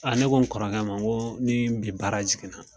A ne ko n kɔrɔkɛ ma n ko ni bi baara jiginna.